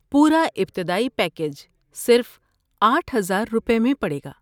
پورا ابتدائی پیکیج صرف آٹھ ہزار روپے میں پڑے گا